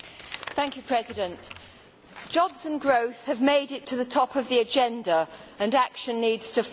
Mr President, jobs and growth have made it to the top of the agenda and action needs to follow.